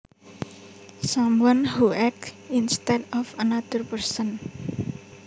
Someone who acts instead of another person